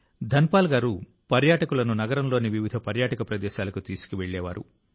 ధన్ పాల్ గారు పర్యాటకులను నగరంలోని వివిధ పర్యాటక ప్రదేశాలకు తీసుకెళ్లేవారు